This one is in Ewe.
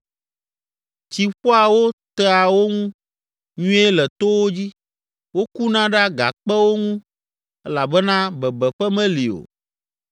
Tsi ƒoa wo tea wo ŋu nyuie le towo dzi, wokuna ɖe agakpewo ŋu elabena bebeƒe meli o.